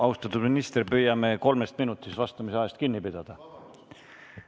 Austatud minister, püüame kolmest minutist vastamisel kinni pidada!